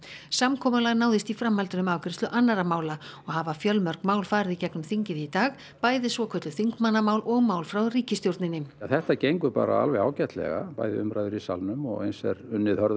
samkomulag náðist í framhaldinu um afgreiðslu annarra mála og hafa fjölmörg mál farið í gegnum þingið í dag bæði svokölluð þingmannamál og mál frá ríkisstjórninni þetta gengur bara alveg ágætlega bæði umræður í salnum og eins er unnið hörðum